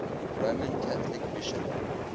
roman catholic bishop